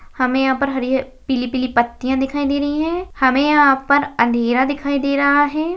हमे यहाँ पर हरी-ह पीली पीली पत्तीया दिखाई दे रही है हमे यहाँ पर अंधेरा दिखाई दे रहा है।